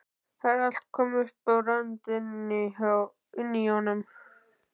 Það var allt komið upp á rönd inni í honum!